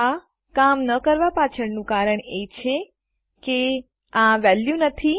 આ કામ ન કરવા પાછળનું કારણ એ છે કે આ વેલ્યુ નથી